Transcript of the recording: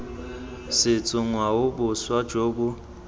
setso ngwao boswa jo bo